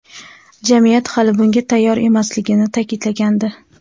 jamiyat hali bunga tayyor emasligini ta’kidlagandi.